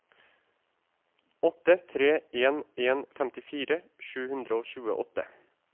åtte tre en en femtifire sju hundre og tjueåtte